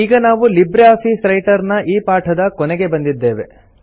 ಈಗ ನಾವು LibreOffice Writer ನ ಈ ಪಾಠದ ಕೊನೆಗೆ ಬಂದಿದ್ದೇವೆ